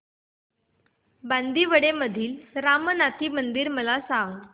बांदिवडे मधील रामनाथी मंदिर मला सांग